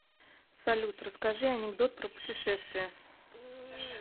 салют расскажи анекдот про путешествия